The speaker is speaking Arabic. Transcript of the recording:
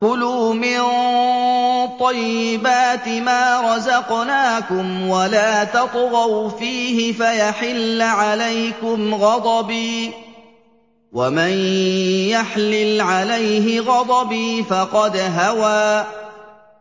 كُلُوا مِن طَيِّبَاتِ مَا رَزَقْنَاكُمْ وَلَا تَطْغَوْا فِيهِ فَيَحِلَّ عَلَيْكُمْ غَضَبِي ۖ وَمَن يَحْلِلْ عَلَيْهِ غَضَبِي فَقَدْ هَوَىٰ